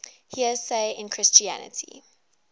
heresy in christianity